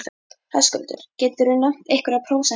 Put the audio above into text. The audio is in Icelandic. Höskuldur: geturðu nefnt einhverjar prósentur í þessu?